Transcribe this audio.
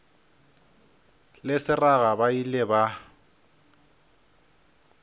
le seraga ba ile ba